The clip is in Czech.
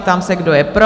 Ptám se, kdo je pro?